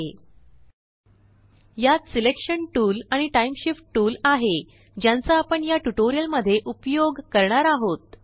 यात selection selection tool आणिTime shift time shift tool आहे ज्यांचा आपण याट्यूटोरियल मध्ये उपयोग करणार आहोत